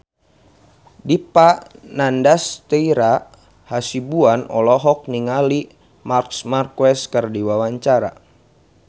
Dipa Nandastyra Hasibuan olohok ningali Marc Marquez keur diwawancara